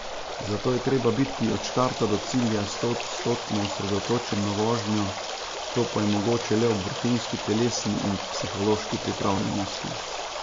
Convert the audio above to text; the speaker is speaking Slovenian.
Zato je treba biti od štarta do cilja stoodstotno osredotočen na vožnjo, to pa je mogoče le ob vrhunski telesni in psihološki pripravljenosti.